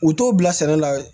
U t'o bila sɛnɛ la